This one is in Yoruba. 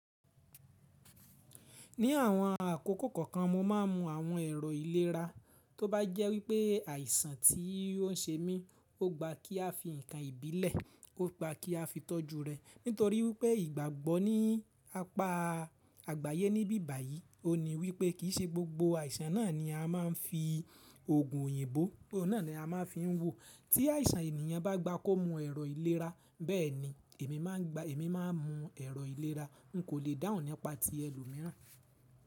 Ní àwọn àkókò kọ̀ọ̀kan mo má a mú àwọn èrọ ìlera, tó bá jẹ́ wípé àìsàn tí ó ń ṣe mí, ó gba kí a fi ǹnkan ìbílẹ̀, ó gba kí a fi tọ́jú rẹ̀. Nítorí wípé ìgbàgbọ́ ní apá àgbáyé níbí báyìí, ó ní wípé kì í ṣe gbogbo àìsàn náà ni a má a ń fi oògùn òyìnbó náà ni a má a ń fi ń wo. Tí àìsàn ènìyàn bá gba kó mú ẹ̀rọ ìlera, bẹ́ẹ̀ni èmi má a gba, èmi má a mú ẹ̀rọ ìlera. N kò lè dáhùn nípa ti ẹlòmíràn.